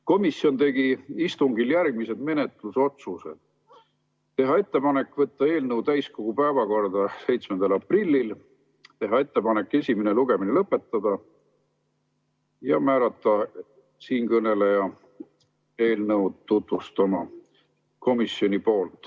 Komisjon tegi istungil järgmised menetlusotsused: teha ettepanek võtta eelnõu täiskogu päevakorda 7. aprilliks, teha ettepanek esimene lugemine lõpetada ja määrata siinkõneleja eelnõu tutvustama.